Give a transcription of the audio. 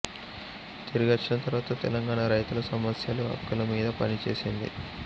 తిరిగొచ్చిన తర్వాత తెలంగాణ రైతుల సమస్యలు హక్కుల మీద పనిచేసింది